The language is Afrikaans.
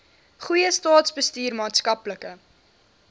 goeie staatsbestuur maatskaplike